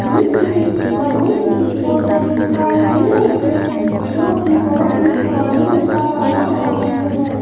ये किसी मंदिर की फोटो दिखाई दे रही है जो कि बहुत ही पुराने जैसा बना हुआ मंदिर है।